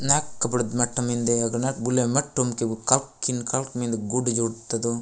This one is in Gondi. नाक बड़े मठ मिन्दे अग न बुले मठ ठुमके एक कल कलकिन मिन्द गुड़ जट तथो --